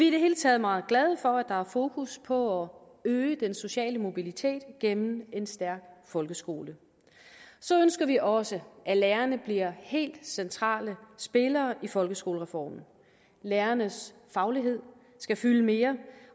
i det hele taget meget glade for at der er fokus på øge den sociale mobilitet gennem en stærk folkeskole så ønsker vi også at lærerne bliver helt centrale spillere i folkeskolereformen lærernes faglighed skal fylde mere